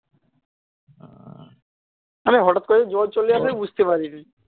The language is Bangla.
মানে হঠাৎ করে জ্বর চলে আসে বুঝতে পারিনা